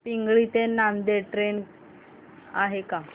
पिंगळी ते नांदेड ट्रेन आहे का